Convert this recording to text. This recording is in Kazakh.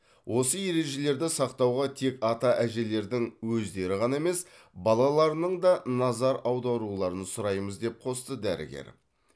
осы ережелерді сақтауға тек ата әжелердің өздері ғана емес балаларының да назар аударуларын сұраймыз деп қосты дәрігер